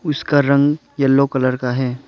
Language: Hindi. उसका रंग यलो कलर का है।